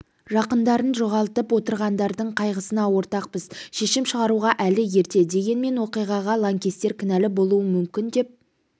жақындарын жоғалтып отырғандардың қайғысына ортақпыз шешім шығаруға әлі ерте дегенмен оқиғаға лаңкестер кінәлі болуы мүмкін деп